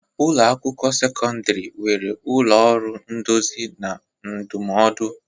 Ụlọ akwụkwọ sekọndrị nwere ụlọ ọrụ nduzi na ndụmọdụ.